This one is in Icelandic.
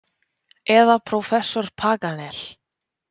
Eða prófessor Paganel.